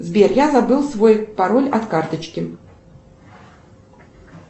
сбер я забыл свой пароль от карточки